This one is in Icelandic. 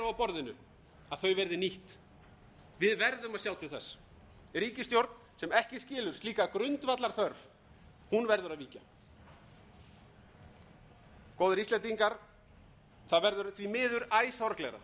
á borðinu verði nýtt við gerðum að sjá til þess ríkisstjórn sem ekki skilur slíka grundvallarþörf verður að víkja góðir íslendingar það verður því miður æ sorglegra að